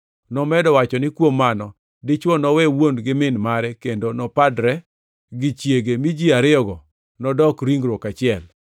nomedo wacho ni, ‘Kuom mano, dichwo nowe wuon kod min kendo nopadre gi chiege, mi ji ariyogo nodok ringruok achiel?’ + 19:5 \+xt Chak 2:24\+xt*